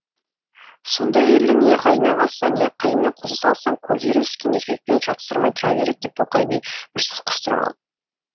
сондай әйелді не қайнағасына не қайнына қоса салсаң көзі үйреніскен еркекпен жатсырамай тұра береді деп тоқай би бір сөз қыстырып қалды